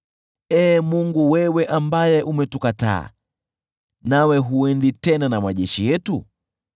Ee Mungu, si ni wewe uliyetukataa sisi, na hutoki tena na majeshi yetu?